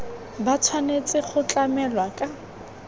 ba tshwanetse go tlamelwa ka